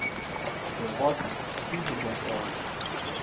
ho roka ke ho bokotsa